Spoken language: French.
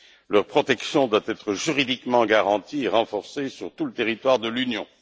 Leur protection doit être juridiquement garantie et renforcée sur tout le territoire de l'Union.